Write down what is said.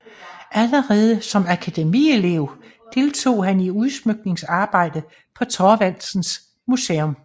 Allerede som akademielev deltog han i udsmykningsarbejdet på Thorvaldsens Museum